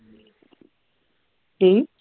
ਕਿ